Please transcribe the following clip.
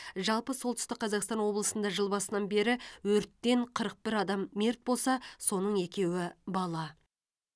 жалпы солтүстік қазақстан облысында жыл басынан бері өрттен қырық бір адам мерт болса соның екеуі бала